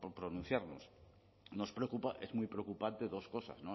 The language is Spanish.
pronunciarnos nos preocupa es muy preocupante dos cosas